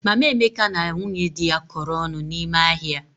Mama Emeka na nwunye dị ya kọrọ ọnụ n'ime ahịa.